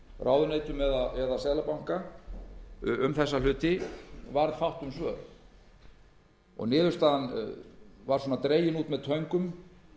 ráðuneytum eða seðlabanka um þessa hluti varð fátt um svör niðurstaðan var svona dregin út með töngum